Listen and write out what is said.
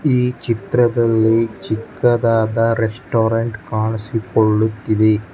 ಈ ಚಿತ್ರದಲ್ಲಿ ಚಿಕ್ಕದಾದ ರೆಸ್ಟೋರೆಂಟ್ ಕಾಣಿಸಿಕೊಳ್ಳುತ್ತಿದೆ.